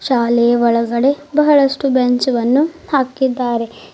ಶಾಲೆಯ ಒಳಗಡೆ ಬಹಳಷ್ಟು ಬೆಂಚ್ ವನ್ನು ಹಾಕಿದ್ದಾರೆ.